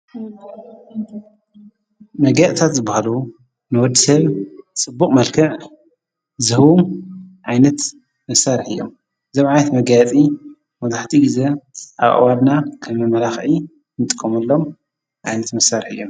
መጋያእታት ዝበሃሉ ንወዲሰብ ስቡቕ መልከዕ ዝሁም ዓይነት መሣርሕ እዮም ዘብዓይት መጋያጺ መብዛሕቲኡ ጊዜ ኣብ ኣዋድና ከመመላኽኢ ምጥቆምሎም ኣይነት መሣርሕ እዮም።